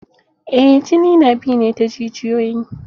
Eh jini na bi ne ta jijiyoyi.